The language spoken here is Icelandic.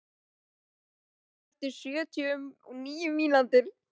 Sól, slökktu á þessu eftir sjötíu og níu mínútur.